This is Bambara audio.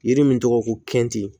Yiri min tɔgɔ ko kɛni